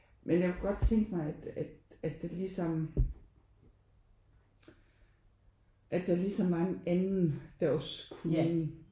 Men jeg kunne godt tænke mig at at at der ligesom at der ligesom var en anden der også kunne